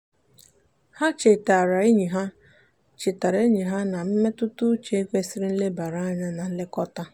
ha chetaara enyi ha chetaara enyi ha na mmetụtauche kwesịrị nlebara anya na nlekọta.